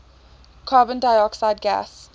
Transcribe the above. carbon dioxide gas